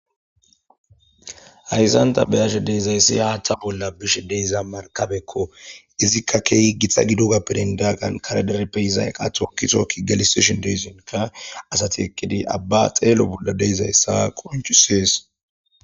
Hayssan ta beyashe deezayssi haaththa qolla bishe deeza markabekko izikka keehi gixa gido gappirindaaqan kareder peyizay qathokitookki galisishin deesinka asati eqqidi abba xeelo bolla deezayssa qonchisees.